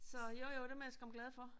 Så jo jo dem er jeg skam glad for